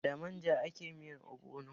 Da manja ake yin miyar ogbono.